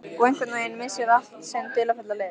Og einhvern veginn missir allt sinn dularfulla lit.